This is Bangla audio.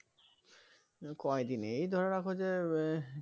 কয়দিন এই ধরে রাখো যে উহ